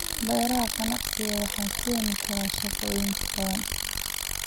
Beeraha ganacsiga waxay keeni karaan shaqooyin badan.